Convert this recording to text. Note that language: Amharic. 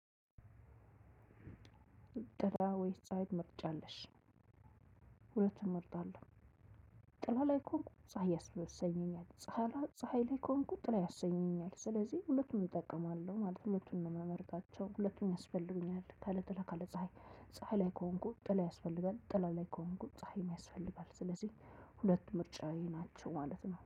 ጥላ ወይስ ፀሀይ ትመርጫለሽ? ሁለቱንም መርጣለሁ ጥላ ላይ ከሆንኩ ፀሀይ ያሰኘኛል። ፀሀይ ላይ ከሆንኩኝ ጥላ ያሰኘኛል ስለዚህ ሁለቱንም እጠቀማለሁ ማለት ነው። ሁለቱንም ነው ምመርጣቸው ሁለቱም ያስፈልጉኛል ካለጥላ ካለጸሃይ ፀሀይ ላይ ከሆንኩ ጥላ ያስፈልጋል። ጥላ ላይ ከሆንኩ ፀሀይን ያስፈልጋል። ስለዚህ ሁለቱም ምርጫየ ናቸው ማለት ነው